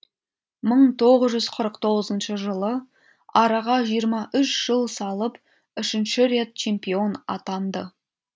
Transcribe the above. мың тоғыз жүз қырық тоғызыншы жылы араға жиырма үш жыл салып үшінші рет чемпион атанды